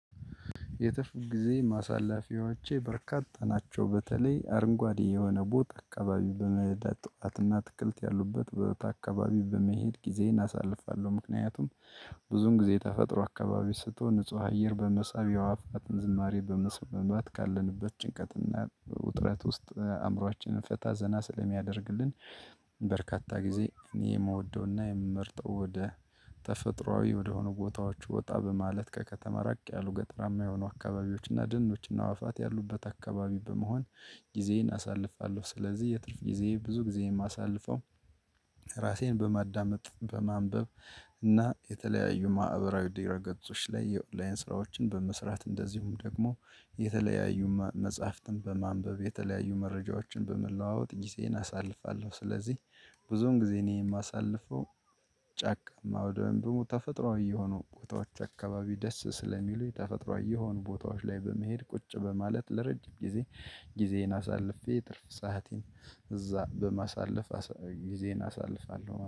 የትርፍ ጊዜ ማሳላፊያዎቼ በርካታ ጠናቸው በተለይ አርንጓዴ የሆነ ቦታ አቀባቢው በመሄድ አትክልት ያሉበት ቦታ አካባቢ በመሄድ ጊዜየን አሳልፋለሁ ምክንያቱም ብዙውን ጊዜ ተፈጥሮ አካባቢ ስትሆን ንጹህ አየር በመሳብ የአዕዋፍትን ዝማሬ በመስመማት ካለንበት ጭንቀትና ውጥረት ውስጥ አእምሮአችንን ፈታ ዘና ስለሚያደርግልን። በርካታ ጊዜ እኔ የምወደውና የምመርጠው ወደ ተፈጥሮአዊ ወደሆኑ ቦታዎች ወጣ በማለት ከከተማ ራቅ ያሉ ገጠራማ የሆኑ አካባቢዎች እና ደኖች እና አዋፋት ያሉበት አካባቢ በመሆን ጊዜዬን አሳልፋለሁ። ስለዚህ የትርፍ ጊዜየ ብዙ ጊዜ የማሳልፈው። ራሴን በማዳመጥ በማንበብ እና የተለያዩ ማዕበራዊ ድረ ገጾች ላይ የኦንላይን ስራዎችን በመስራት እንደዚሁም ደግሞ የተለያዩ መጽሐፍትን በማንበብ የተለያዩ መረጃዎችን በመለዋወጥ ጊዜየን አሳልፋለሁ። ስለዚህ ብዙን ጊዜ እኔ የማሳልፈው። ጨካማ ወይንም ደግሞ ተፈጥሮአዊ የሆኑ ቦታዎች አካባቢ ደስ ስለሚሉ የተፈጥሮአዊ የሆኑ ቦታዎች ላይ በመሄድ ቁጭ በማለት ለረጅም ጊዜ ጊዜየን አሳልፌ ትርፍ ሰአቴን እዛ በማሳለፍ ጊዜን አሳልፋለሁ ማለት ነው